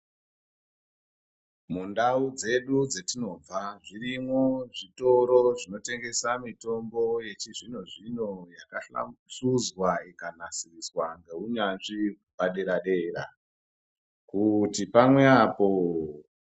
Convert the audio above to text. Mundau dzedu dzatinobva zvirimwo zvitoro zvinotengesa mitombo yechizvino zvino yakahlamusuzwa ikanasiswa ngehunyanzvi padera dera kuti pamwe apo